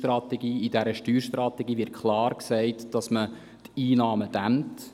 In dieser Steuerstrategie wird klar gesagt, dass man die Einnahmen dämmt.